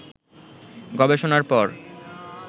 গবেষণার পর